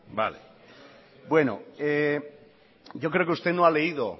vale bueno yo creo que usted no ha leído